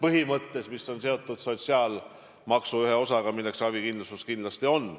See otsus on seotud sotsiaalmaksu ühe osaga, milleks ravikindlustus kindlasti on.